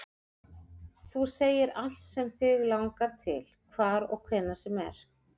Þú segir allt sem þig langar til, hvar og hvenær sem er